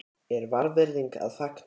er vanvirðing að fagna?